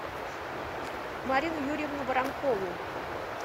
марину юрьевну воронкову